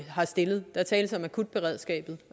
har stillet der tales om akutberedskabet